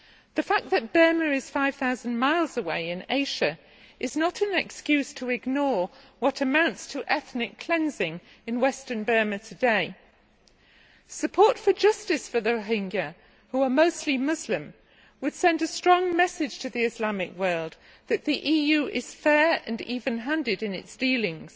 The fact that Burma is 5000 miles away in Asia is not an excuse to ignore what amounts to ethnic cleansing in western Burma today. Support for justice for the Rohingya, who are mostly Muslim, would send a strong message to the Islamic world that the EU is fair and even handed in its dealings.